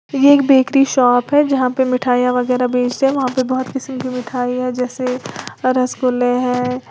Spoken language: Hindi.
ये एक बेकरी शॉप है जहां पर मिठाईयां वगैरा बेच रहे है वहां पे बहोत किस्म की मिठाई है जैसे रसगुल्ले हैं।